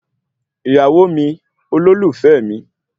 Ìyàwó mi, olólùfẹ́ mi